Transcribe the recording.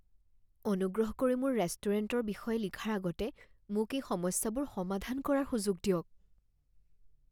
অনুগ্ৰহ কৰি মোৰ ৰেষ্টুৰেণ্টৰ বিষয়ে লিখাৰ আগতে মোক এই সমস্যাবোৰ সমাধান কৰাৰ সুযোগ দিয়ক